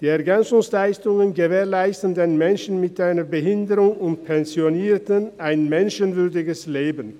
Die EL gewährleisten den Menschen mit einer Behinderung und den Pensionierten ein menschenwürdiges Leben.